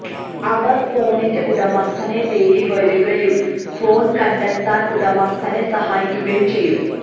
അവര് ഫോണിന്റെ ഉടമസ്ഥനെ തേടി വരുകയും ഫോണ് കണ്ടെത്താന് ഉടമസ്ഥനെ സഹായിക്കുകയും ചെയ്യും